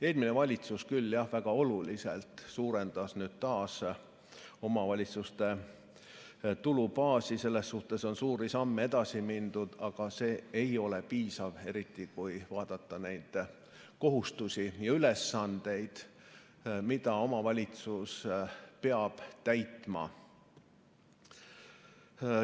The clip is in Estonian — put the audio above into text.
Eelmine valitsus küll jah väga oluliselt suurendas taas omavalitsuste tulubaasi, selles suhtes on suurte sammudega edasi mindud, aga see ei ole piisav, eriti kui vaadata neid kohustusi ja ülesandeid, mida omavalitsus peab täitma.